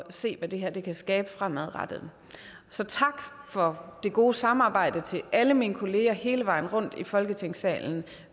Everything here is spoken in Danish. se hvad det her kan skabe fremadrettet så tak for det gode samarbejde til alle mine kolleger hele vejen rundt i folketingssalen